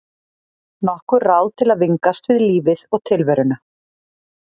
Nokkur ráð til að vingast við lífið og tilveruna.